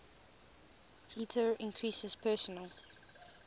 heater increases personal